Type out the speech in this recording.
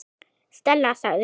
Stella sagði hún.